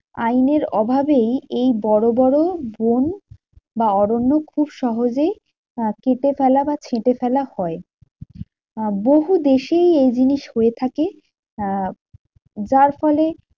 আইনের ওভাবেই এই বড়বড় বন বা অরণ্য খুব সহজেই কেটে ফেলা বা ছেঁটে ফেলা হয়। বহু দেশেই এই জিনিস হয়ে থাকে। আহ যার ফলে